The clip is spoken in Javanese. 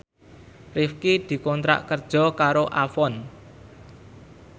Rifqi dikontrak kerja karo Avon